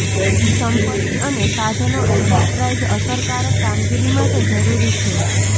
સંપત્તિ અને સાધનો એન્ટરપ્રાઇઝ અસરકારક કામગીરી માટે જરૂરી છે